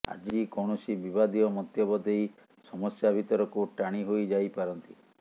ଆଜି କୌଣସି ବିବାଦୀୟ ମନ୍ତବ୍ୟ ଦେଇ ସମସ୍ୟା ଭିତରକୁ ଟାଣି ହୋଇଯାଇପାରନ୍ତି